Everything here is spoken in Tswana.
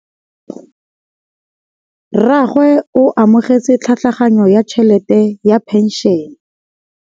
Rragwe o amogetse tlhatlhaganyô ya tšhelête ya phenšene.